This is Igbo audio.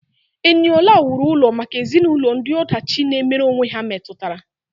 Eniola wuru ụlọ maka ezinụlọ ndị ọdachi na-emere onwe ha metụtara.